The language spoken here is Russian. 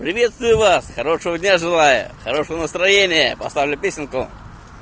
приветствую вас хорошего дня желаю хорошего настроения поставлю песенку